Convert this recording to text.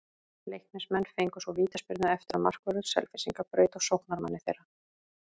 Leiknismenn fengu svo vítaspyrnu eftir að markvörður Selfyssinga braut á sóknarmanni þeirra.